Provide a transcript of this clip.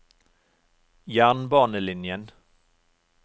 jernbanelinjen